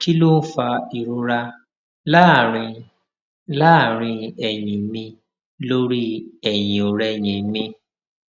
kí ló ń fa ìrora láàárín láàárín èyìn mi lórí èyìnòrẹyìn mi